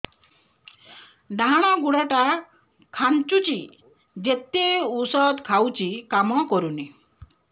ଡାହାଣ ଗୁଡ଼ ଟା ଖାନ୍ଚୁଚି ଯେତେ ଉଷ୍ଧ ଖାଉଛି କାମ କରୁନି